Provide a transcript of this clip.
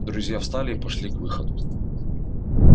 друзья встали и пошли к выходу